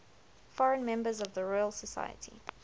foreign members of the royal society